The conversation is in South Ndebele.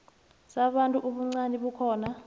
sabantu ubuncani bakhona